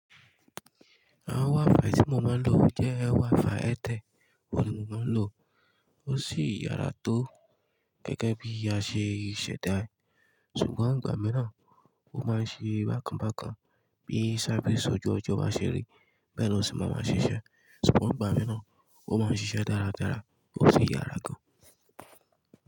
Àwon wifì tí mó má n lò jé wifi Airtel òun ni mo má n lò, o sì yára to gẹ́gẹ́ bí a ṣe ṣẹ̀dá e. Sugbon ìgbà mìíràn o má n ṣe bákànbákan bí i sáfisi ojú ọjọ́ bá ṣeré, bẹ́ẹ̀ ni ó sì máa ṣíṣe. Sugbon ìgbà mìíràn ó má n ṣíṣe dáradára o sì yára gan.